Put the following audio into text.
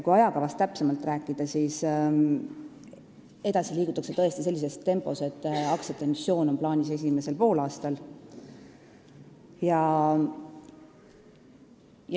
Kui ajakavast täpsemalt rääkida, siis edasi liigutakse sellises tempos, et aktsiate emissioon on plaanis esimesel poolaastal.